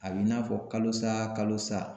A b'i n'a fɔ kalo sa kalo sa